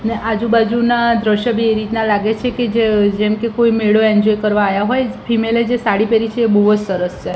ને આજુ-બાજુના દ્રશ્યો બી એ રીતના લાગે છે કે જે જેમકે કોઈ મેળો એન્જોય કરવા આયા હોય ફિમેલે જે સાડી પહેરી છે એ બોજ સરસ છે.